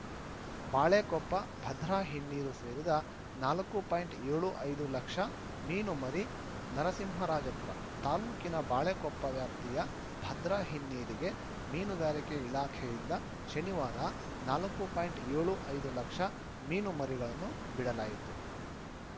ಬಾಳೆಕೊಪ್ಪ ಭದ್ರಾ ಹಿನ್ನೀರು ಸೇರಿದ ನಾಲ್ಕು ಪಾಯಿಂಟ್ ಏಳು ಐದು ಲಕ್ಷ ಮೀನುಮರಿ ನರಸಿಂಹರಾಜಪುರ ತಾಲೂಕಿನ ಬಾಳೆಕೊಪ್ಪ ವ್ಯಾಪ್ತಿಯ ಭದ್ರಾ ಹಿನ್ನೀರಿಗೆ ಮೀನುಗಾರಿಕೆ ಇಲಾಖೆಯಿಂದ ಶನಿವಾರ ನಾಲ್ಕು ಪಾಯಿಂಟ್ ಏಳು ಐದು ಲಕ್ಷ ಮೀನು ಮರಿಗಳನ್ನು ಬಿಡಲಾಯಿತು